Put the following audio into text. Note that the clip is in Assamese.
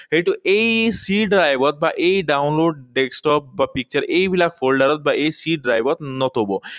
সেইটো এই C drive ত বা এই download desktop বা picture এইবিলাক folder ত বা এই C drive ত নথব।